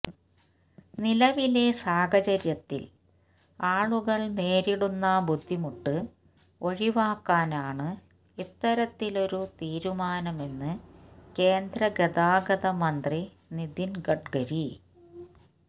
നിലവിലെ സാഹചര്യത്തില് ആളുകള് നേരിടുന്ന ബുദ്ധിമുട്ട് ഒഴിവാക്കാനാണ് ഇത്തരത്തിലൊരു തീരുമാനമെന്ന് കേന്ദ്ര ഗതാഗത മന്ത്രി നിതിന് ഗഡ്ഗരി